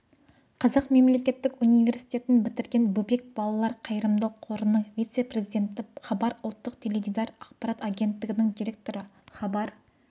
қазақ мемлекеттік университетін бітірген бөбек балалар қайырымдық қорының вице-президенті хабар ұлттық теледидар ақпарат агенттігінің директоры хабар